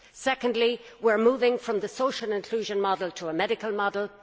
Secondly, we are moving from the social inclusion model to a medical model.